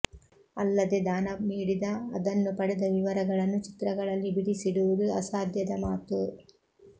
ಅಲ್ಲದೆ ದಾನ ನೀಡಿದ ಅದನ್ನು ಪಡೆದ ವಿವರಗಳನ್ನು ಚಿತ್ರಗಳಲ್ಲಿ ಬಿಡಿಸಿ ಡುವುದು ಅಸಾಧ್ಯದ ಮಾತು